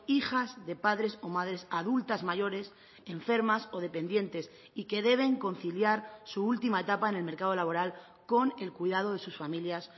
hijas de padres o madres adultas mayores enfermas o dependientes y que deben conciliar su última etapa en el mercado laboral con el cuidado de sus familias